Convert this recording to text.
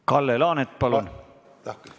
Kalle Laanet, palun!